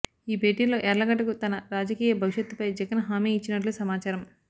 ఈ భేటీలో యార్లగడ్డకు తన రాజకీయ భవిష్యత్తుపై జగన్ హామీ ఇచ్చినట్లు సమచారం